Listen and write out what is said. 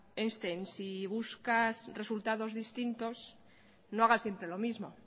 einstein si buscas resultados distintos no hagas siempre lo mismo